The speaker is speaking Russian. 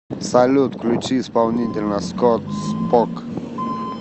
салют включи исполнителя скотт спок